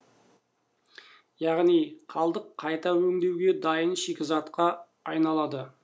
яғни қалдық қайта өңдеуге дайын шикізатқа айналады